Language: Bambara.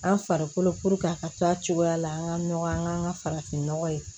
An farikolo a ka to a cogoya la an ka nɔgɔ an ka an ka farafinnɔgɔ ye